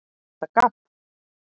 ER ÞETTA GABB?